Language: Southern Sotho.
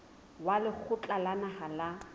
wa lekgotla la naha la